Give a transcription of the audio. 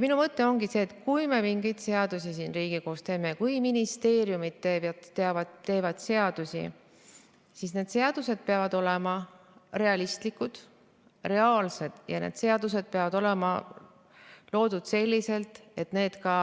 Minu mõte ongi see, et kui me mingeid seadusi siin Riigikogus teeme, kui ministeeriumid teevad seadusi, siis need seadused peavad olema realistlikud ja reaalsed ning need seadused peavad olema loodud selliselt, et need ka